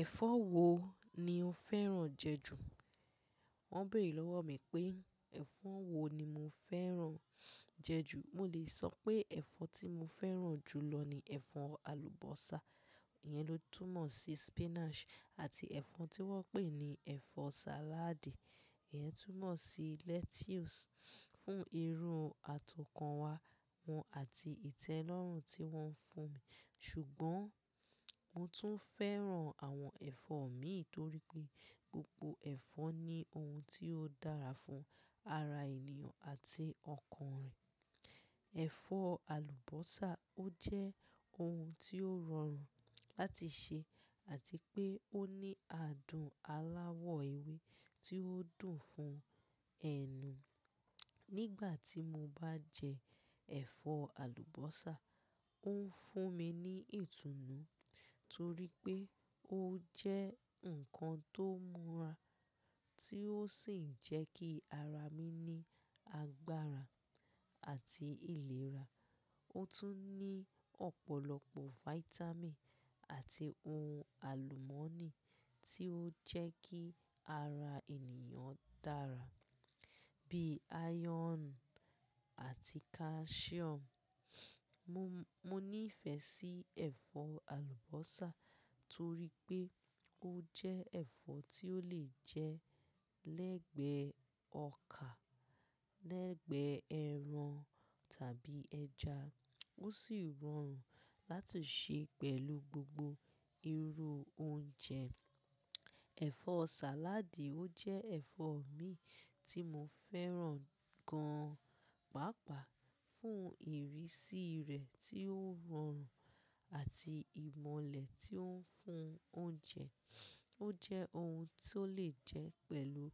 "Ẹ̀fọ́ wo ni o fẹ́ràn jẹ ju?" Wọ́n béèrè lọ́wọ́ mi pé ẹ̀fọ́ wo ni mo fẹ́ràn jẹ ju. Mo lè sọ pé ẹ̀fọ́ tí mo fẹ́ràn jù lọ ni ẹ̀fọ́ àlùbọ́sà, ìyẹn ló túnmọ̀ sí spinach, àti ẹ̀fọ́ tí wọ́n pè ní ẹ̀fọ́ salad, ìyẹn túnmọ̀ sí lettuce fún irun àti ọkàn wa àti ìtẹ́lọ́rùn tí wọ́n fún ṣùgbọ́n mo tún fẹ́ràn àwọn ẹ̀fọ́ mìí, torí pé gbogbo ẹ̀fọ́ ní ohun tí ó dára fún ara ènìyàn àti ọkàn rẹ̀. Ẹ̀fọ́ àlùbọ́sà ó jẹ́ ohun tí ó rọrùn láti sè àti pé ó ní adùn aláwọ̀ ewé tí ó dùn fún ẹnu. Nígbà tí mo bá jẹ ẹ̀fọ́ àlùbọ́sà, ó ń fún mi ní ìtùnú torí pé ó jẹ́ nǹkan tó múra tí ó sì ń jẹ́ kí ara mi ní agbára àti ìlera. Ó tún ní ọ̀pọ̀lọpọ̀ vitamin àti ohun àlùmọ́nì tí ó ń jẹ́ kí ara ènìyàn dára bíi iron àti calcium. Mo níìfẹ̀ sí ẹ̀fọ́ àlùbọ́sà torí pé ó jẹ́ ẹ̀fọ́ tí ó lè jẹ́ lẹ́gbẹ̀ẹ́ ọkaà, lẹ́gbẹ̀ẹ́ ẹran tàbí ẹja. Ó sì rọrùn láti sè pẹ̀lú gbogbo irú oúnjẹ. Ẹ̀fọ́ sàládì ó jẹ́ ẹ̀fọ́ mì tí mo fẹ́ràn gan paàpaà fún ìrísí rẹ̀ tí ó rọrùn àti ìmọ́lẹ̀ tí ó ń fún oúnjẹ. Ó jẹ́ ohun tí ó lè jẹ́ pẹ̀lú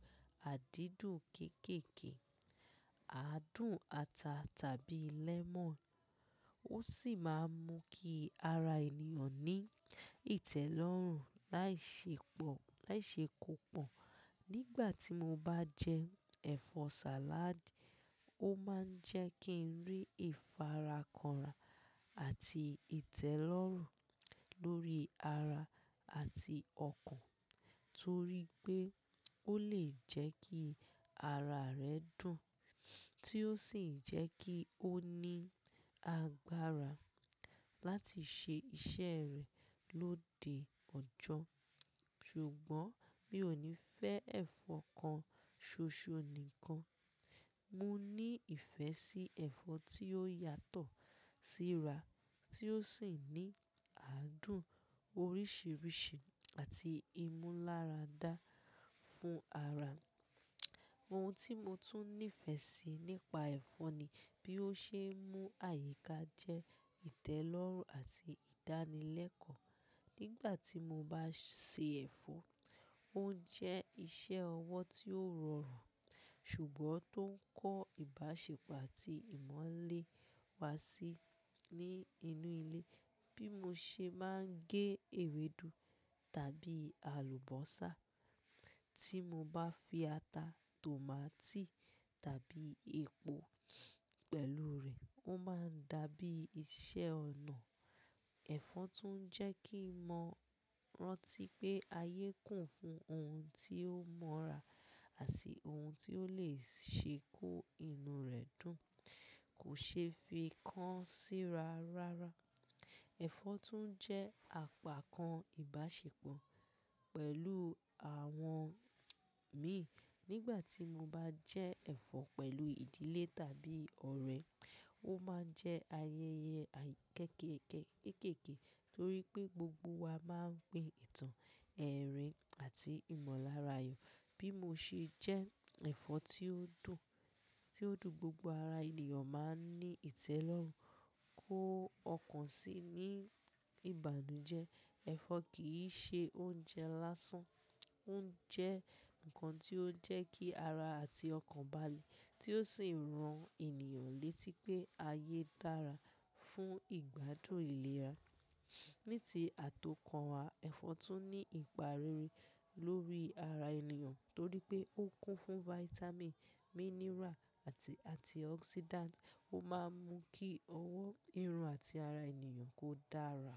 àdídùn kékèèké, aadùn ata tàbí lemon. Ó sì máa ń mú kí ara ènìyàn ní ìtẹ́lọ́rùn láìṣe pọ̀, láìṣe kó pọ̀. Nígbà tí mo bá jẹ ẹ̀fọ́ sàládì, ó máa ń jẹ́ kí n rí ìfarakanra àti ìtẹ́lọ́rùn lórí ara àti ọkàn torí pé ó lè jẹ́ kí ara rẹ dùn tí ó sì ń jẹ́ kí ó ní agbára láti ṣe iṣẹ́ rẹ̀ lóde ọjọ́. Ṣùgbọ́n mi ò ní fẹ́ ẹ̀fọ́ kan ṣoṣo nìkan. Mo ní ìfẹ́ sí ẹ̀fọ́ tí ó yàtọ̀ síra tí ó sì ń ní aadùn oríṣiríṣi àti ìmúláradá fún ara. Ohun tí mo tún nífẹ̀ sí nípa ẹ̀fọ́ ni bí ó ṣe ń mú àyíká jẹ́ ìtẹ́lọ́rùn àti ìdánilẹ́kọ̀ọ́. Nígbà tí mo bá sè ẹ̀fọ́, ó ń jẹ́ iṣẹ́ ọwọ́ tí ó rọrùn, ṣùgbọ́n tó ń kó ìbáṣepọ̀ àti ìmọ́lẹ̀ wá sí ní inú ilé. Bí mo ṣe bá ń gé ewédú tàbí àlùbọ́sà tí mo bá fi ata, tòmátì tàbí epo pẹ̀lú rẹ̀, ó máa ń dàbí iṣẹ́ ọ̀nà. Ẹ̀fọ́ tún jẹ́ kí n mọ̀ rántí pé ayé kún fún ohun tí ó múra àti ohun tí ó lè ṣe kó inú rẹ̀ dùn, kò ṣeé fi kán síra rárá. Ẹ̀fọ́ tún jẹ́ àpákan ìbáṣepọ̀ pẹ̀lú àwọn mii nígbà tí mo bá jẹ ẹ̀fọ́ pẹ̀lú ìdílé tàbí ọ̀rẹ́, ó máa ń jẹ́ ayẹyẹ kéékèèké torí pé gbogbo wa máa ń pi ìtàn, ẹ̀rín àti ìmalárayọ̀. Bí mo ṣe jẹ́ ẹ̀fọ́ tí ó dùn, tí ó dùn gbogbo ara ènìyàn máa ń ní ìtẹ́lọ́rùn kó ọkàn sí i ní ìbànújẹ́. Ẹ̀fọ́ kì í ṣe oúnjẹ lásán, ó ń jẹ́ nǹkan tí ó ń jẹ́ kí ara àti ọkàn balẹ̀ tí ó sì ń ran ènìyàn létí pé ayé dára fún ìgbádùn ìlera. Ní ti àtọkànwá, ẹ̀fọ́ tún ní ìparere lórí ara ènìyàn torí pé ó kún fún vitamin, mineral àti antioxidant. Ó máa ń mú kí ọwọ́ irun àti ara ènìyàn kó dára.